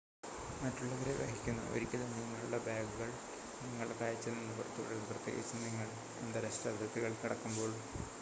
മറ്റുള്ളവരെ വഹിക്കുന്നു ഒരിക്കലും നിങ്ങളുടെ ബാഗുകൾ നിങ്ങളുടെ കാഴ്ചയിൽ നിന്ന് പുറത്തുവിടരുത് പ്രത്യേകിച്ചും നിങ്ങൾ അന്താരാഷ്ട്ര അതിർത്തികൾ കടക്കുമ്പോൾ